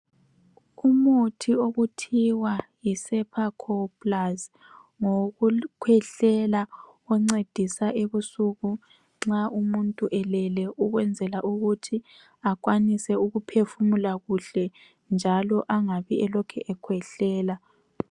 Umuthi okuthiwa yiCepacol plus ngowokukhwehlela oncedisa ebusuku nxa umuntu elele ukwenzela ukuthi akwanise ukuphefumula kuhle njalo engabi elokhu ekhwehlela.